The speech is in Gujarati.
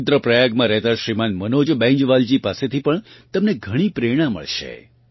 રુદ્ર પ્રયાગમાં રહેતાં શ્રીમાન મનોજ બૈંજવાલજી પાસેથી પણ તમને ઘણી પ્રેરણા મળશે